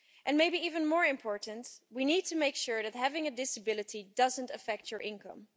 Maybe even more important, we need to make sure that having a disability doesn't affect your income.